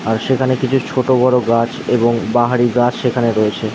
আর সেখানে কিছু ছোট বড় গাছ এবং বাহারি গাছ সেখানে রয়েছে।